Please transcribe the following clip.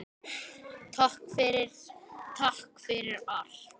Takk fyrir, takk fyrir allt.